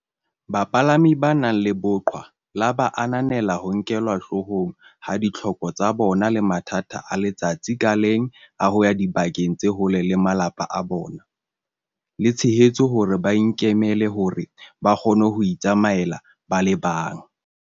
Bapalami ba nang le boqhwa la ba ananela ho nkelwa hloohong ha ditlhoko tsa bona le mathata a letsatsi ka leng a ho ya dibakeng tse hole le malapa a bona, le tshehetso hore ba ikemele hore ba kgone ho itsamaela ba le bang.